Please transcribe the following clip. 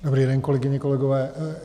Dobrý den, kolegyně, kolegové.